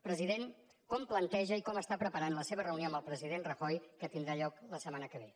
president com planteja i com està preparant la seva reunió amb el president rajoy que tindrà lloc la setmana que ve